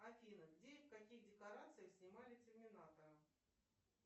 афина где и в каких декорациях снимали терминатора